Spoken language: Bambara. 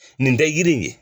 Nin tɛ yiri ye.